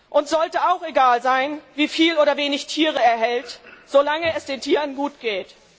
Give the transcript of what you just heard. Uns sollte auch egal sein, wie viele oder wie wenig Tiere er hält, solange es den Tieren gut geht.